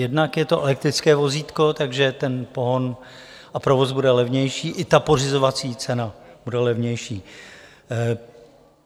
Jednak je to elektrické vozítko, takže ten pohon a provoz bude levnější, i ta pořizovací cena bude levnější.